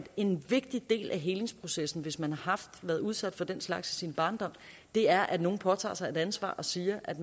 en vigtig del af helingsprocessen hvis man har været udsat for den slags i sin barndom er at nogen påtager sig et ansvar og siger at